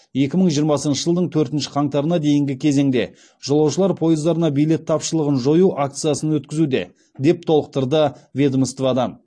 екі мың жиырмасыншы жылдың төртінші қаңтарына дейінгі кезеңде жолаушылар пойыздарына билет тапшылығын жою акциясын өткізуде деп толықтырды ведомстводан